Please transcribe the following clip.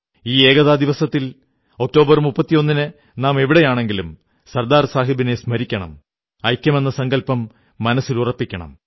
ഈ ഏകതാ ദിവസത്തിൽ ഒക്ടോബർ 31 ന് നാം എവിടെയാണെങ്കിലും സർദാർ സാഹബിനെ സ്മരിക്കണം ഐക്യമെന്ന സങ്കല്പം മനസ്സിലുറപ്പിക്കണം